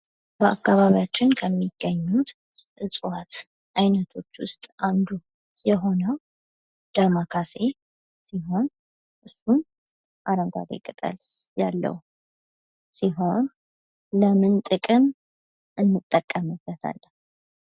በአካባቢያችን ከሚገኙት እፅዋት ዓይነቶች ውስጥ አንዱ የሆነው ደሞካሴ ሲሆን ፤ እስካሁን አረንጓዴ ቅጠል ያለው ሲሆን ለምን ጥቅም እንጠቀምበታለን?